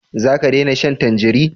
Za ka dena shan tanjari?